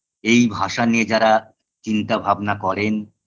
এই ভাষা নিয়ে যারা চিন্তাভাবনা করেন